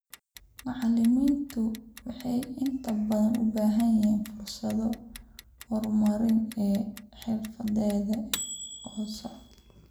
Macallimiintu waxay inta badan u baahan yihiin fursado horumarineed oo xirfadeed oo socda.